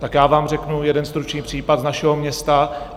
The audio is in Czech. Tak já vám řeknu jeden stručný případ z našeho města.